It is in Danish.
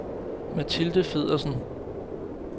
Mathilde Feddersen